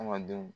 Adamadenw